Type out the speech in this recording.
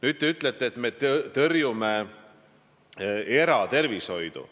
Te ütlesite, et me tõrjume eratervishoidu.